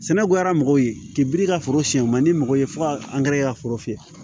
Sɛnɛko la mɔgɔw ye ka foro siyɛn o man di mɔgɔw ye fo ka an gɛrɛ i ka foro fɛ